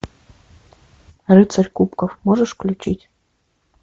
рыцарь кубков можешь включить